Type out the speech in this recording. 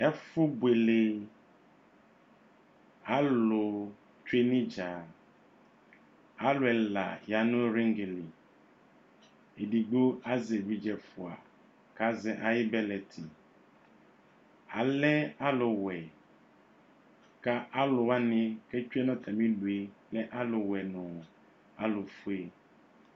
Ɛfʋbuele, alʋ tsue n'idza Alʋ ɛla ya nʋ riŋgi li Ɛdigbo azɛ evidze ɛfua kʋ azɛ ayʋ bɛlɛti Alɛ alʋ wɛ kʋ alʋwa ni ketsue nʋ atami idʋ yɛ lɛ alʋ wɛ nʋ alʋ fue